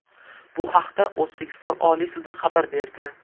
Bu haqda O‘zbekiston Oliy sudi xabar berdi .